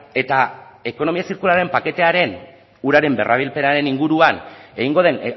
eta ekonomia zirkularraren paketearen uraren berrabilpenaren inguruan egingo den